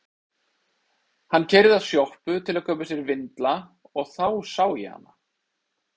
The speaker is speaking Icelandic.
Hann keyrði að sjoppu til að kaupa sér vindla og þá sá ég hana.